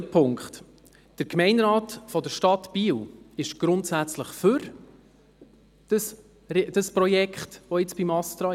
Zweitens: Der Gemeinderat der Stadt Biel ist grundsätzlich für das Projekt, welches jetzt beim ASTRA liegt.